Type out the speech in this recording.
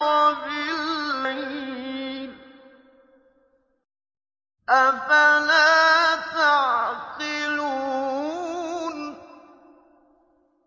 وَبِاللَّيْلِ ۗ أَفَلَا تَعْقِلُونَ